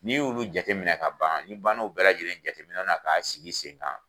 N'i y'i ulu jate minɛ ka ban n'i ban na u bɛɛ lajɛlen jateminɛ na k'a sigi sen kan